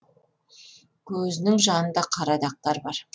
көзінің жанында қара дақтар бар